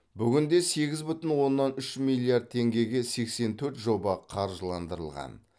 бүгінде сегіз бүтін оннан үш миллиард теңгеге сексен төрт жоба қаржыландырылған